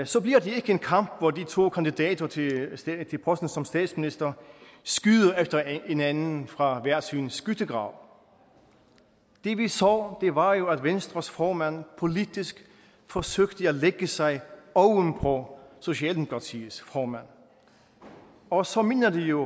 så bliver det ikke en kamp hvor de to kandidater til posten som statsminister skyder efter hinanden fra hver sin skyttegrav det vi så var jo at venstres formand politisk forsøgte at lægge sig ovenpå socialdemokratiets formand og så minder det jo